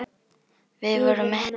Við vorum mettir.